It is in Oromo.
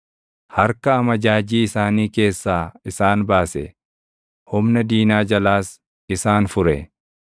Harka amajaajii isaanii keessaa isaan baase; humna diinaa jalaas isaan fure.